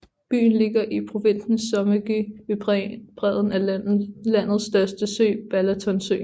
Byen ligger i provinsen Somogy ved bredden af landets største sø Balatonsøen